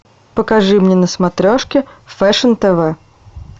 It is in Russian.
покажи мне на смотрешке фэшн тв